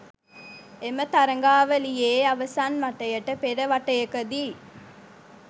එම තරගාවලියේ අවසන් වටයට පෙර වටයකදී